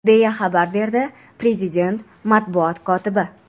deya xabar berdi prezident matbuot kotibi.